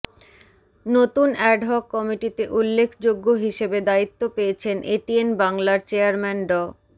নতুন অ্যাডহক কমিটিতে উল্লেখযোগ্য হিসেবে দায়িত্ব পেয়েছেন এটিএন বাংলার চেয়ারম্যান ড